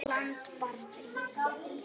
land barn ríki